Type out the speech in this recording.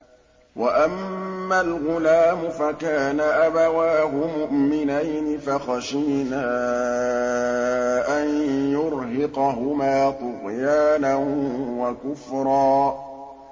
وَأَمَّا الْغُلَامُ فَكَانَ أَبَوَاهُ مُؤْمِنَيْنِ فَخَشِينَا أَن يُرْهِقَهُمَا طُغْيَانًا وَكُفْرًا